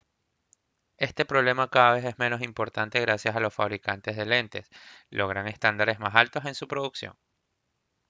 este problema cada vez es menos importante gracias a que los fabricantes de lentes logran estándares más altos en su producción